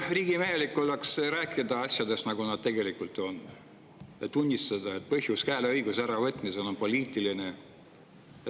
Riigimehelik oleks ikka rääkida asjadest, nagu nad tegelikult on, ja tunnistada, et hääleõiguse äravõtmise põhjus on poliitiline.